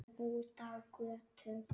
Út á götu.